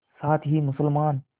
साथ ही मुसलमान